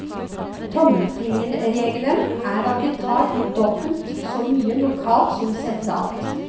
Tommelfingerregelen er at de tar ut dobbelt så mye lokalt som sentralt.